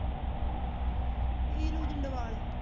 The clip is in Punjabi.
ਏਲੂ ਜਿੰਦਵਾਲ